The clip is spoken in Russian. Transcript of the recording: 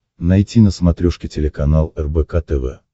найти на смотрешке телеканал рбк тв